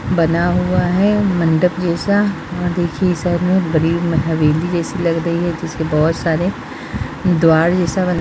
बना हुआ है मंडप जैसा और देखिये ये सब में बड़ी हवेली जैसी लग रही है जिसे में बहुत सारे द्वार जैसा बना है |